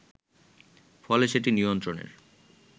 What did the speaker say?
ফলে সেটি নিয়ন্ত্রণের